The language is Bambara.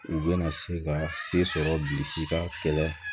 U bɛna se ka se sɔrɔ bilisi ka kɛlɛ